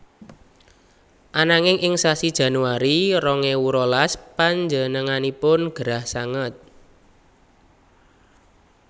Ananging ing sasi Januari rong ewu rolas panjenenganipun gerah sanget